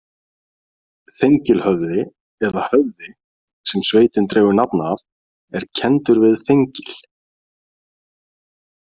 Þengilhöfði eða Höfði, sem sveitin dregur nafn af, er kenndur við Þengil.